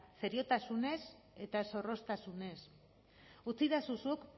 seriotasunez eta zorroztasunez utzidazu zuk